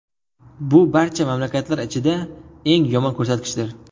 Bu barcha mamlakatlar ichida eng yomon ko‘rsatkichdir.